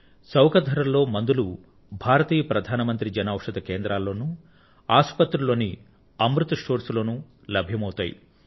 చౌక ధరల్లోని మందులు భారతీయ ప్రధాన మంత్రి జన ఔషధి కేంద్రాల లోనూ ఆసుపత్రుల లోని అమృత్ స్టోర్స్ లోనూ అభ్యం అవుతాయి